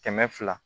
Kɛmɛ fila